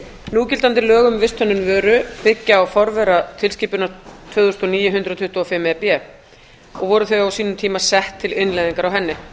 núgildandi lög um visthönnun vöru byggja á forvera tilskipunar tvö þúsund og níu hundrað tuttugu og fimm e b og voru þau á sínum tíma sett til innleiðingar á henni